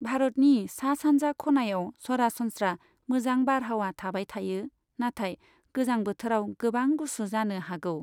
भारतनि सा सानजा खनायाव सरासनस्रा मोजां बारहावा थाबाय थायो, नाथाय गोजां बोथोराव गोबां गुसु जानो हागौ।